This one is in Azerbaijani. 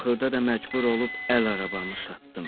Axırda da məcbur olub əl arabamı satdım.